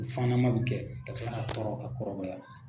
Fannama bɛ kɛ ka tila ka tɔrɔ ka kɔrɔbaya.